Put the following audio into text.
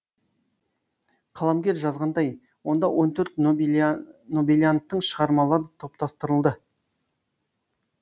қаламгер жазғандай онда он төрт нобелианттың шығармалары топтастырылды